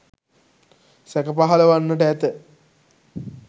සැක පහළ වන්නට ඇත.